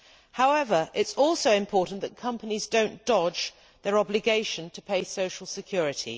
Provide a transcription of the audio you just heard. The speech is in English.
However, it is also important that companies do not dodge their obligation to pay social security.